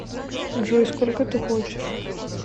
джой сколько ты хочешь